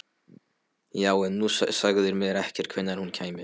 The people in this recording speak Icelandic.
Já, en þú sagðir mér ekkert hvenær hún kæmi.